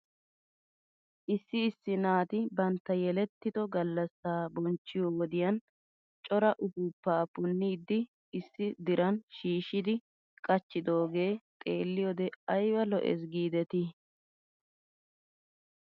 Issi issi naati bantta yelettido gallasaa bonchchiyoo wodiyan cora upuupaa punnidi issi diran shiishidi qachchidoogee xeeliyoode ayba lo'es giidetii ?